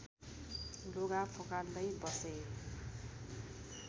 लुगा फुकाल्दै बसे